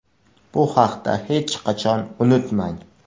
Bu haqda hech qachon unutmang.